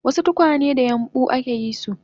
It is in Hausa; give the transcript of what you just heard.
wasu tukwanen da yambu